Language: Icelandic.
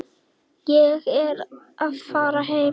Ég er að fara heim.